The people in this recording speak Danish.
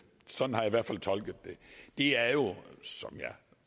sådan har jeg i hvert fald tolket det er jo som jeg